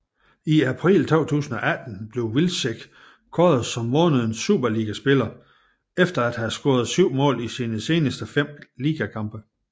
I april 2018 blev Wilczek kåret som månedens Superligaspiller efter at have scoret syv mål i sine seneste fem ligakampe